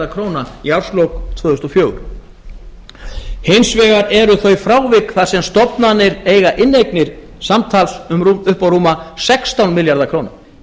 króna í árslok tvö þúsund og fjögur hins vegar eru þau frávik þar sem stofnanir eiga inneignir samtals upp á rúma sextán milljarða króna